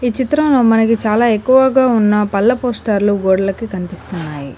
చిత్రంలో మనకి చాలా ఎక్కువగా ఉన్న పళ్ళ పోస్టర్లు గోడలకి కనిపిస్తున్నాయి.